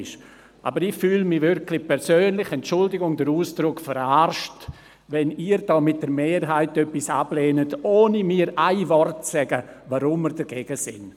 Ich fühle mich persönlich wirklich verarscht – entschuldigen Sie den Ausdruck –, wenn Sie mit der Mehrheit etwas ablehnen, ohne mir mit einem Wort zu sagen, weshalb Sie dagegen sind!